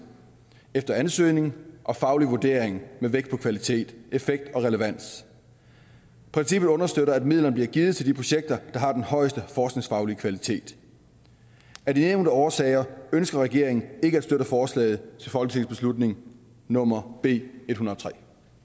efter ansøgning og faglig vurdering med vægt på kvalitet effekt og relevans princippet understøtter at midlerne bliver givet til de projekter der har den højeste forskningsfaglige kvalitet af de nævnte årsager ønsker regeringen ikke at støtte forslaget til folketingsbeslutning nummer b ethundrede